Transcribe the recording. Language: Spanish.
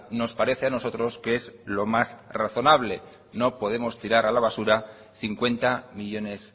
nos parece a nosotros que es lo más razonable no podemos tirar a la basura cincuenta millónes